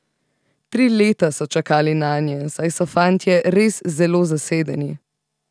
Tri leta so čakali nanje, saj so fantje res zelo zasedeni.